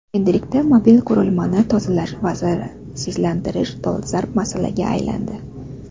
Endilikda mobil qurilmani tozalash va zararsizlantirish dolzarb masalaga aylandi.